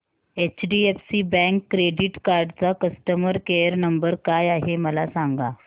HDFC bank credit card चा customer care number काय आहे मला सांगा